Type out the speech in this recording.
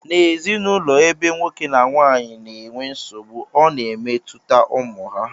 N' ezinụlọ ebe nwoke na nwaanyị na-enwe nsogbu ọ na-emetụta ụmụ ha